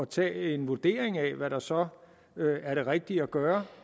tage en vurdering af hvad der så er det rigtige at gøre